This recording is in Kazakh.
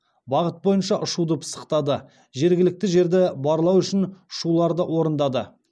бағыт бойынша ұшуды пысықтады жергілікті жерді барлау үшін ұшуларды орындады